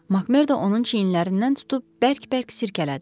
Makmerd onun çiyinlərindən tutub bərk-bərk sirkələdi.